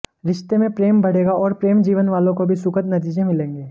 रिश्ते में प्रेम बढ़ेगा और प्रेम जीवन वालों को भी सुखद नतीजे मिलेंगे